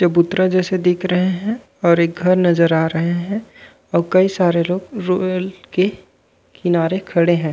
चबूतरा जइसे दिख रहे हैं और एक घर नज़र आ रहे हैं और कई सारे लोग रोड के किनारे खड़े हैं।